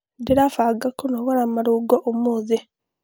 Ndĩrabanga kũnogora marũngo ũmũthĩ.